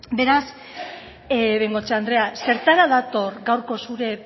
beraz bengoechea andrea zertara dator gaurko zure